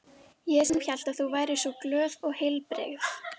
Ég sem hélt að þú væri svo glöð og heilbrigð.